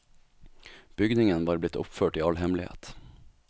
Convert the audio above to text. Bygningen var blitt oppført i all hemmelighet.